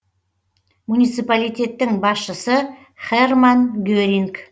муниципалитеттің басшысы херрман геринг